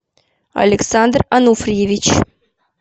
александр ануфриевич